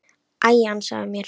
Æ, ansaðu mér.